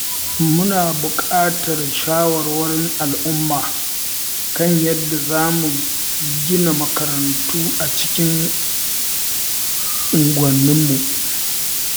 Muna buƙatar shawarwarin al’umma kan yadda za mu gina makarantu a cikin unguwanninmu.